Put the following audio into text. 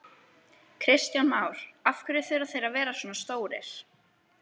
Kristján Már: Af hverju þurfa þeir að vera svona stórir?